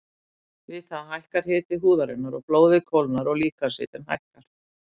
Við það hækkar hiti húðarinnar og blóðið kólnar og líkamshitinn lækkar.